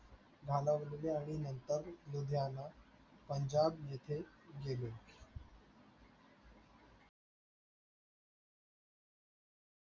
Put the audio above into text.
आणि मुमताज पंजाब जिथे गेले.